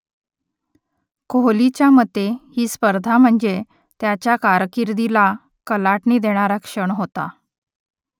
कोहलीच्या मते ही स्पर्धा म्हणजे त्याच्या कारकिर्दीला कलाटणी देणारा क्षण होता